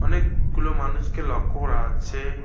অনেকগুলো মানুষকে লক্ষ্য করা যাচ্ছে।